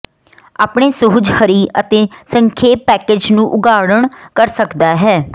ਆਪਣੇ ਸੁਹਜ ਹਰੀ ਅਤੇ ਸੰਖੇਪ ਪੈਕੇਜ ਨੂੰ ਉਘਾੜਣ ਕਰ ਸਕਦਾ ਹੈ